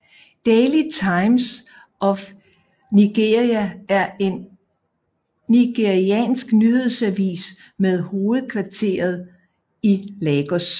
Daily Times of Nigeria er en nigeriansk nyhedsavis med hovedkvarter i Lagos